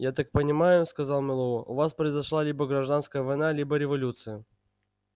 я так понимаю сказал мэллоу у вас произошла либо гражданская война либо революция